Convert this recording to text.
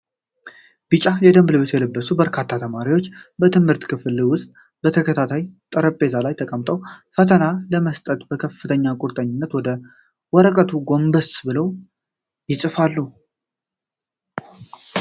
ቢጫ የደንብ ልብስ የለበሱ በርካታ ተማሪዎች በትምህርት ክፍል ውስጥ በተከታታይ ጠረጴዛዎች ላይ ተቀምጠዋል። ፈተናውን ለመስራት በከፍተኛ ቁርጠኝነት ወደ ወረቀቱ ጎንበስ ብለው ይጽፋሉ።